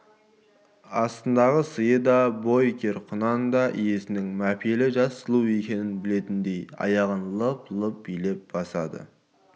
астындағы сыйда бой кер құнан да иесінің мәпелі жас сұлу екенін білетіндей аяғын лып-лып билеп басады